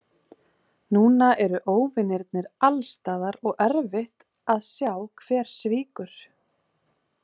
Núna eru óvinirnir alstaðar og erfitt að sjá hver svíkur.